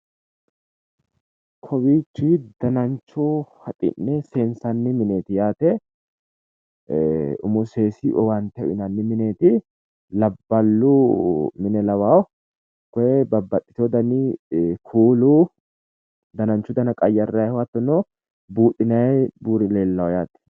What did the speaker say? Kowiichi dannancho haxi'ne seensanni mineeti yaate umu seesi owaante uyinnanni mineeeti labballu mine lawao koe kuulu dananchu danna soorinnanni hattono buudhinayi buuri leellano yaate.